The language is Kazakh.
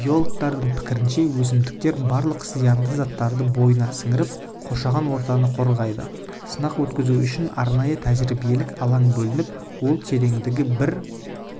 биологтардың пікірінше өсімдіктер барлық зиянды заттарды бойына сіңіріп қоршаған ортаны қорғайды сынақ өткізу үшін арнайы тәжіребиелік алаң бөлініп ол тереңдігі бір